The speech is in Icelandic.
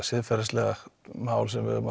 siðferðisleg mál sem við erum